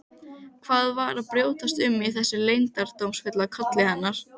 Hvað var að brjótast um í þessum leyndardómsfulla kolli hennar?